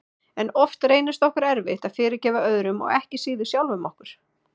En oft reynist okkur erfitt að fyrirgefa öðrum og ekki síður sjálfum okkur.